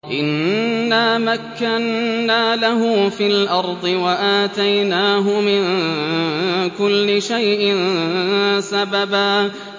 إِنَّا مَكَّنَّا لَهُ فِي الْأَرْضِ وَآتَيْنَاهُ مِن كُلِّ شَيْءٍ سَبَبًا